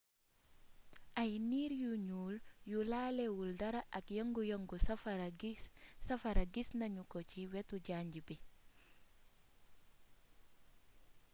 ay niir yu ñuul yu laalé wul dara ak yëngu yëngu safara gisna ñuko ci wétu janj bi